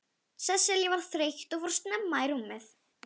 Sesselja var þreytt og fór snemma í rúmið.